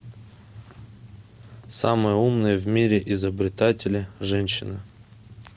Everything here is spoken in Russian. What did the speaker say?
самые умные в мире изобретатели женщины